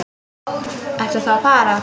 Ertu þá að fara?